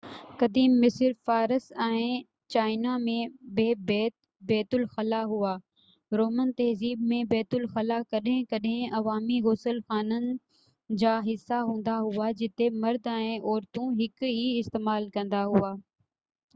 قديم مصر فارس ۽ چائنا ۾ بہ بيت الخلا هئا رومن تهذيب ۾ بيت الخلا ڪڏهن ڪڏهن عوامي غسل خانن جا حصا هندا هئا جتي مرد ۽ عورتون هڪ ئي استعمال ڪندا هئا